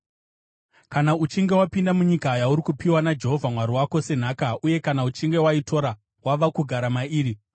Kana uchinge wapinda munyika yauri kupiwa naJehovha Mwari wako senhaka uye kana uchinge waitora wava kugara mairi,